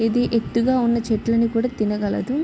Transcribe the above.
ఇది ఎత్తుగా ఉన్న చెట్లని కూడా తినగలదు.